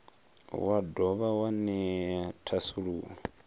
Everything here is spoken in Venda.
wa dovha wa ṅea thasululo